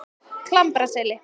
Klambraseli